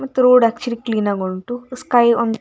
ಮತ್ತು road actually clean ಆಗುಂಟು ಮತ್ತೆ ಸ್ಕೈ ಒಂದ್ --